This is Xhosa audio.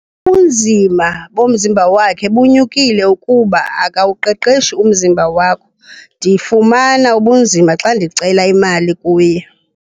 Ubunzima bomzimba wakhe bunyukile kuba akawuqeqeshi umzimba wakho. Ndifumana ubunzima xa ndicela imali kuye.